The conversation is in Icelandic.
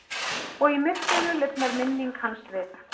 Og í myrkrinu lifnar minning hans við.